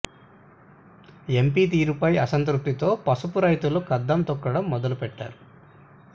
MP తీరుపై అసంతృప్తితో పసుపు రైతులు కదం తొక్కడం మొదలు పెట్టా రు